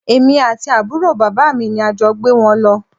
Èmi àti àbúrò bàbá mi ni a jọ gbé wọn lọ